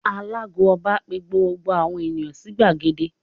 Alàago Ọba pe gbogbo àwọn ènìyàn sí gbàgede